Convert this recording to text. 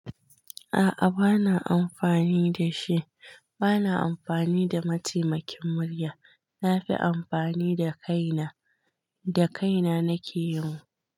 A'a bana amfani da shi. Bana amfani da mataimakin murya. Nafi amfani da kaina. Da kaina nake yi.